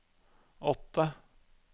åtte